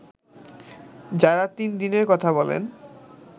যারা তিন দিনের কথা বলেন